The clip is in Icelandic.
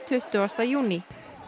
tuttugasta júní